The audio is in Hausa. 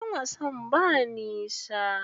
Wajen wasan ba nisa.